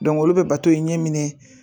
olu bɛ bato in ɲɛ minɛ.